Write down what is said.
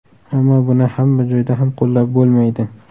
Ammo buni hamma joyda ham qo‘llab bo‘lmaydi.